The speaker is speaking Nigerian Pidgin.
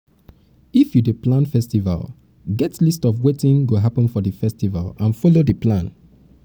if you dey you dey plan festival um get list of wetin um go um happen for di festival and follow di plan